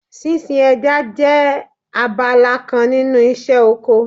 Sínsin ẹja jẹ́ abala kan nínú iṣẹ́ oko